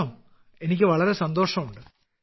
ആണോ എനിക്ക് വളരെ സന്തോഷമുണ്ട്